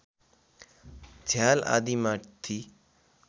झ्याल आदि माथि